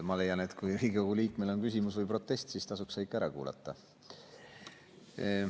Ma leian, et kui Riigikogu liikmel on küsimus või protest, siis tasuks see ikka ära kuulata.